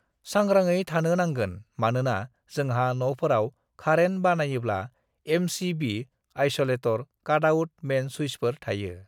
सांग्रांयै थानो नांगोन मानोना जोंहा न'फोराव खारेन (current) बानायोब्ला M C B (MCB) isolator cut out main सुइचफोर थायो